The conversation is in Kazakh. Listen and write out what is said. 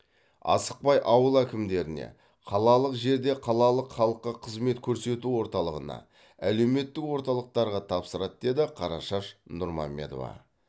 асықпай ауыл әкімдеріне қалалық жерде қалалық халыққа қызмет көрсету орталығына әлеуметтік орталықтарға тапсырады деді қарашаш нұрмамедова